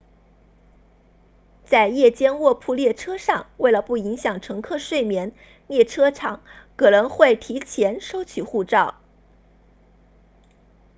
在夜间卧铺列车上为了不影响乘客睡眠列车长可能会提前收取护照